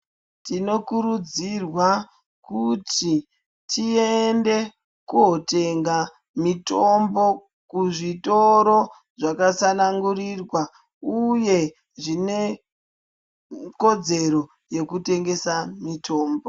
Tinokurudzirwa kuti tiendekotenga mitombo kuzvitoro zvakatsanangurirwa uye zvinekodzero yekutengesa mitombo